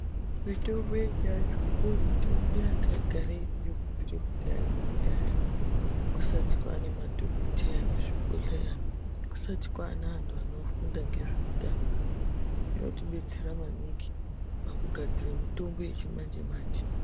Mitombo yechiandu ndo mitombo yanga yagara iriyo kubvira kudhaya nekudhaya kusati kwaane madhokoteya mezvibhedhleya kusati kwaane anthu anofunda ngezveutano inotidetsera maningi pakugadzire mitombo yechimanje manje.